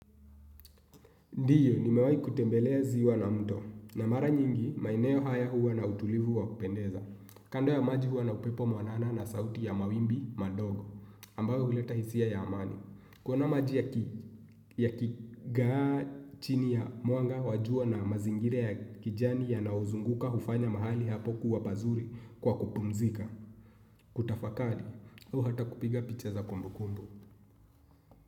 Ndiyo, nimewai kutembelea ziwa na mto. Na mara nyingi, maeneo haya huwa na utulivu wa kupendeza. Kando ya maji huwa na upepo mwanana na sauti ya mawimbi madogo, ambayo huleta hisia ya amani. Kuona maji yakigaa chini ya mwanga wa jua na mazingira ya kijani yanayo uzunguka hufanya mahali hapo kuwa pazuri kwa kupumzika. Kutafakari, huo hata kupiga picha za kumbukumbu.